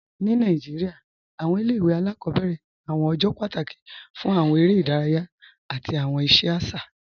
Ni Nàìjíríà, awọn ilẹ̀-ìwé aláàkọbẹ̀rẹ ni awọn ọjọ́ pátákì fún awọn èrè idáràyà àti awọn iṣẹ aṣa.